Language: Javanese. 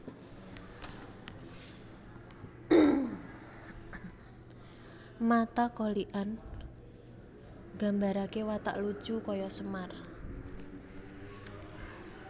Mata Kolikan Nggambaraké watak lucu kaya Semar